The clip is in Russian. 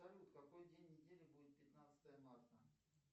салют какой день недели будет пятнадцатое марта